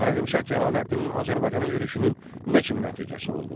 Xarəzmşah Cəlaləddinin Azərbaycana yürüşünün nə kimi nəticəsi oldu?